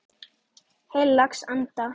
Heilags Anda.